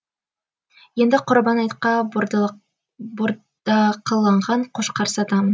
енді құрбан айтқа бордақыланған қошқар сатамын